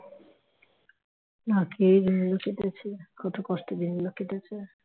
না খেয়ে দিনগুলো কেটেছে কত কষ্ট দিন গুলো কেটেছে